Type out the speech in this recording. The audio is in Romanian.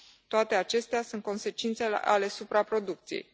Toate acestea sunt consecințe ale supraproducției.